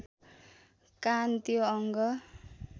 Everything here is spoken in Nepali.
कान त्यो अङ्ग